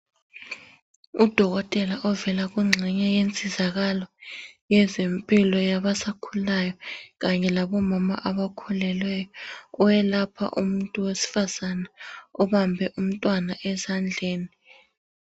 Udokotela ovela kuxenye yensinzakalo yezempilo yabasakhulayo kanye labomama abakhulelweyo owelapha umuntu wesifazana obambe umntwana esandleni.